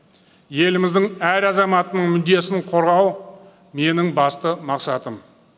еліміздің әр азаматының мүддесін қорғау менің басты мақсатым